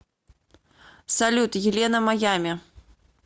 салют елена маями